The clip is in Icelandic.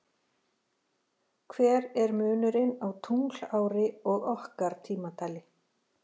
Hver er munurinn á tunglári og okkar tímatali?